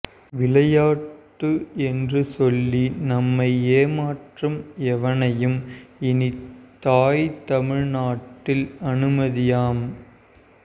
விளையாட்டு என்று சொல்லி நம்மை ஏமாற்றும் எவனையும் இனி தாய்த் தமிழ்நாட்டில் அனுமதியோம்